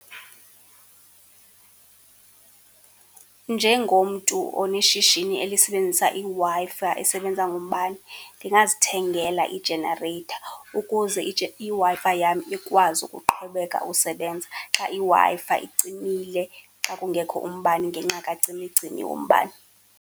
Njengomntu oneshishini elisebenzisa iWi-Fi esebenza ngombane, ndingazithengela ijenareyitha ukuze iWi-Fi yam ikwazi ukuqhubeka ukusebenza xa iWi-Fi icimile, xa kungekho umbane ngenxa kacimicimi wombane.